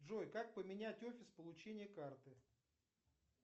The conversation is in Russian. джой как поменять офис получения карты